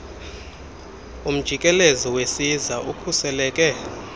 umjikelezo wesiza ukhuseleke